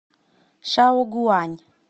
шаогуань